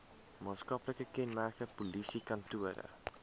maatskaplike kenmerke polisiekantore